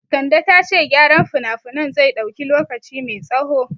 Kande ta ce gyaran finafinan zai dauki lokaci mai tsaho